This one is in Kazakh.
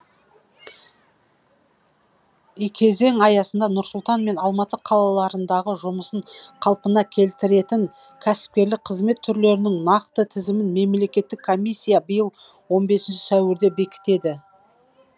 кезең аясында нұр сұлтан мен алматы қалаларындағы жұмысын қалпына келтіретін кәсіпкерлік қызмет түрлерінің нақты тізімін мемлекеттік комиссия биыл он бесінші сәуірде бекітеді